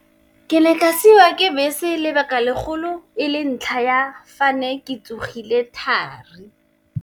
Ke ne ka siwa ke bese lebaka legolo, e le ntlha ya fa ne ke tsogile thari.